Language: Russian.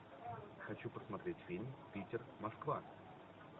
хочу посмотреть фильм питер москва